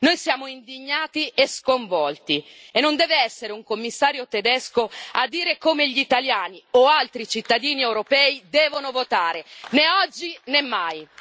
Noi siamo indignati e sconvolti, e non deve essere un Commissario tedesco a dire come gli italiani o altri cittadini europei devono votare, né oggi né mai.